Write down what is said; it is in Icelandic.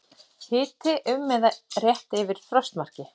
Hiti um eða rétt yfir frostmarki